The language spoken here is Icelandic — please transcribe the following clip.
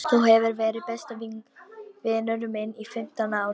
Þú hefur verið besti vinur minn í fimmtán ár.